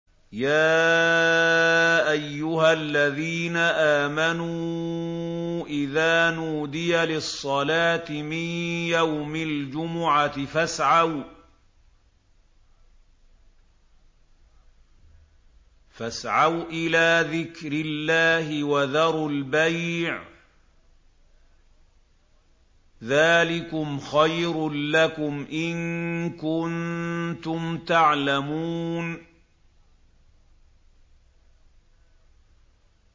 يَا أَيُّهَا الَّذِينَ آمَنُوا إِذَا نُودِيَ لِلصَّلَاةِ مِن يَوْمِ الْجُمُعَةِ فَاسْعَوْا إِلَىٰ ذِكْرِ اللَّهِ وَذَرُوا الْبَيْعَ ۚ ذَٰلِكُمْ خَيْرٌ لَّكُمْ إِن كُنتُمْ تَعْلَمُونَ